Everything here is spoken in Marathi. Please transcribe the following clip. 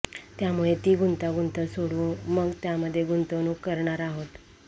त्यामुळे ती गुंतागुंत सोडवू मग त्यामध्ये गुंतवणूक करणार आहोत